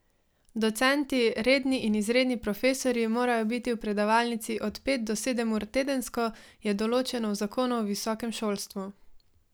Docenti, redni in izredni profesorji morajo biti v predavalnici od pet do sedem ur tedensko, je določeno v zakonu o visokem šolstvu.